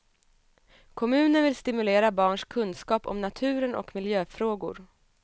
Kommunen vill stimulera barns kunskap om naturen och miljöfrågor.